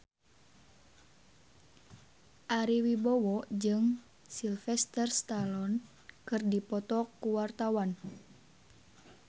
Ari Wibowo jeung Sylvester Stallone keur dipoto ku wartawan